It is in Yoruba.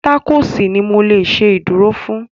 Tákòòsì ni mo lè ṣe ìdúró fún